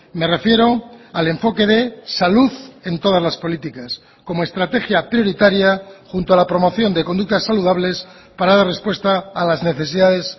me refiero al enfoque de salud en todas las políticas como estrategia prioritaria junto a la promoción de conductas saludables para dar respuesta a las necesidades